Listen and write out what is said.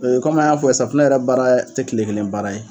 De komi an y'a fɔ sa, safunɛ yɛrɛ baara tɛ tile kelen baara ye.